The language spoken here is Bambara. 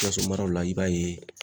Sikaso maraw la, i b'a ye